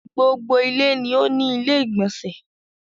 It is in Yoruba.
Gbogbo ilé ló ní ilé-ìgbọ̀nsẹ̀